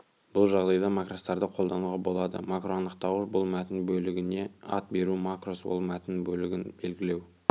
бұл жағдайда макростарды қолдануға болады макроанықтауыш бұл мәтін бөлігіне ат беру макрос ол мәтін бөлігін белгілеу